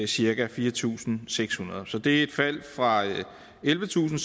cirka fire tusind seks hundrede så det er et fald fra ellevetusinde